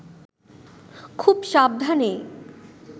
খুব সাবধানে